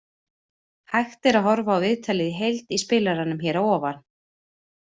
Hægt er að horfa á viðtalið í heild í spilaranum hér að ofan.